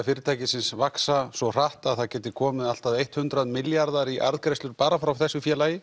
fyrirtækisins vaxa svo hratt að það getur komið allt að hundrað milljarðar í arðgreiðslur bara frá þessu félagi